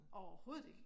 Overhovedet ikke!